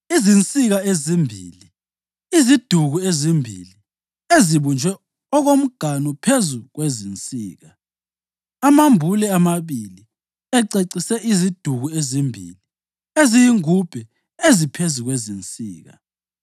Izinsika ezimbili; iziduku ezimbili ezibunjwe okomganu phezu kwezinsika; amambule amabili ececise iziduku ezimbili eziyingubhe eziphezu kwezinsika;